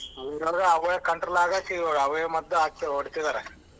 ಅವೇ control ಆಗಕೆ ಅವೇ ಮದ್ದ್ ಹಾಕಿ ಹೊಡಿತಿದಾರೆ.